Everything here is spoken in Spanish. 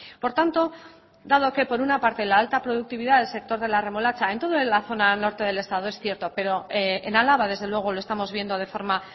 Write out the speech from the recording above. por tanto dado que por una parte la alta productividad del sector de la remolacha en toda la zona norte del estado es cierto pero en álava desde luego lo estamos viendo de forma